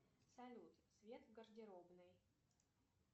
салют свет в гардеробной